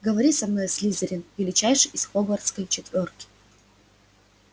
говори со мной слизерин величайший из хогвартской четвёрки